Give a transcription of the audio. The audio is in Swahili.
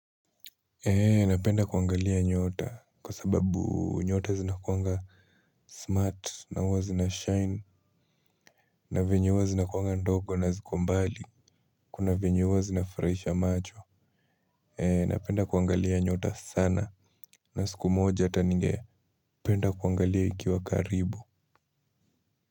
Eee napenda kuangalia nyota kwa sababu nyota zinakuwanga smart na huwa zinashine na venye huwa zinakuwanga ndogo na ziko mbali kuna venye huwa zinafurahisha macho. Eee napenda kuangalia nyota sana na siku moja hata ninge penda kuangalia ikiwa karibu.